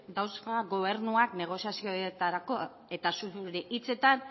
dauzka gobernuak negoziazioetarako eta zure hitzetan